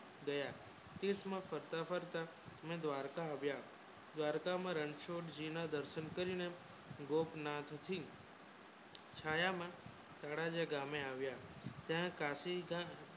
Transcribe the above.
ગયા સૂક્ષ્મ ને દ્વારકા આવ્યા હતા દ્વારકા માં રણછોડ જી ને દર્શન કરીને ગોપનાથ જી છાયા માં સરસ જગ્ય માં આવ્યા ત્યાં પછી પણ